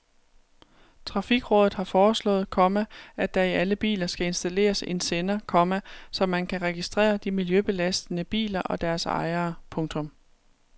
Trafikrådet har foreslået, komma at der i alle biler skal installeres en sender, komma så man kan registrere de miljøbelastende biler og deres ejere. punktum